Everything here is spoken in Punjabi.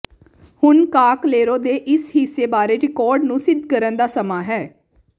ਹੁਣ ਕਾਕਲੇਰੋ ਦੇ ਇਸ ਹਿੱਸੇ ਬਾਰੇ ਰਿਕਾਰਡ ਨੂੰ ਸਿੱਧ ਕਰਨ ਦਾ ਸਮਾਂ ਹੈ